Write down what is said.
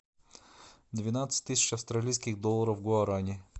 двенадцать тысяч австралийских долларов в гуарани